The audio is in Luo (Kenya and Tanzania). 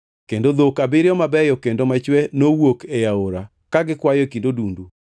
kendo dhok abiriyo mabeyo kendo machwe nowuok ei aora ka gikwayo e kind odundu.